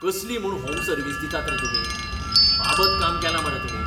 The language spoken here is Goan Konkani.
कसली म्हूण होम सर्विस दितात रे तुमी, बाबत काम केलां मरे तुमी.